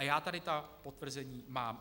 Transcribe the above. A já tady ta potvrzení mám.